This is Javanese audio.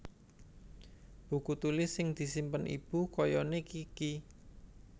Buku tulis sing disimpen ibu kayane Kiky